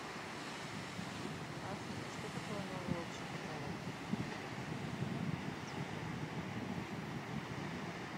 афина что такое новый общий каталог